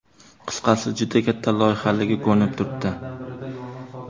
Qisqasi, juda katta loyihaligi ko‘rinib turibdi.